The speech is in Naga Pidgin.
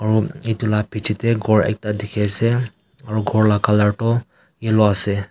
aru etu la piche te ghor ekta dikhi ase aru ghor la colour toh yellow ase.